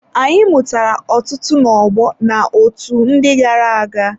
Anyị mụtara ọtụtụ ná ọgbọ na otu ndị gara-aga.